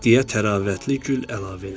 Deyə təravətli gül əlavə elədi.